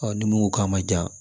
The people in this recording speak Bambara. ni mun ko k'a ma jan